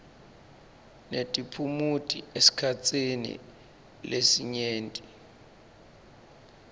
netiphumuti esikhatsini lesinyenti